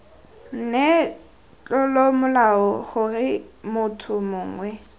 nne tlolomolao gore motho mongwe